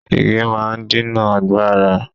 Igi máa ń dènà àgbàrá.